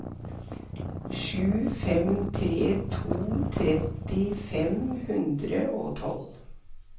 sju fem tre to tretti fem hundre og tolv